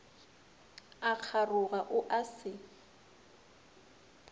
a kgaroga o a se